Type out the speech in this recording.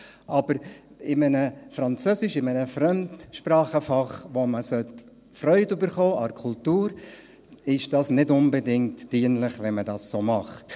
Aber es ist nicht unbedingt dienlich, wenn man es in Französisch, in einem Fremdsprachenfach, in dem man Freude an der Kultur entwickeln sollte, so macht.